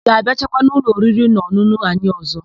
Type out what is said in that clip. Ị ga-abịaghachikwa n'ụlọ oririnaọn̄ụn̄ụ anyị ọ̀zọ́?